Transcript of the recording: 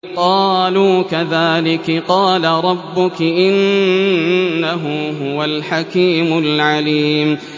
قَالُوا كَذَٰلِكِ قَالَ رَبُّكِ ۖ إِنَّهُ هُوَ الْحَكِيمُ الْعَلِيمُ